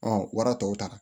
Ɔn wara tɔw ta